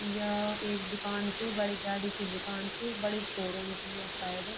या एक दूकान च बड़ी गाडी की दूकान च बड़ी शोरूम च या शायद।